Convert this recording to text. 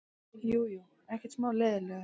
Jú, jú, ekkert smá leiðinlegur.